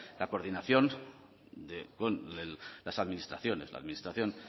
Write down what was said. la coordinación con las administraciones la administración